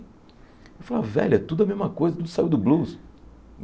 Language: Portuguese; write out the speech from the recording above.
Eu falava, velho, é tudo a mesma coisa, tudo saiu do blues.